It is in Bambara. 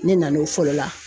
Ne na n'o fɔlɔ la.